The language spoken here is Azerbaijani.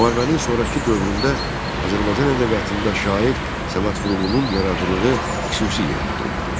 Müharibənin sonrakı dövründə Azərbaycan ədəbiyyatında şair Səməd Vurğunun yaradıcılığı xüsusi yer tuturdu.